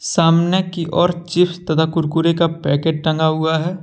सामने की ओर चिप्स तथा कुरकुरे का पैकेट टांगा हुआ है।